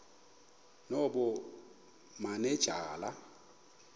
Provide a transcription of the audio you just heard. nobumanejala